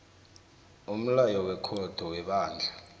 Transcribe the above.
umlayo wekhotho webandla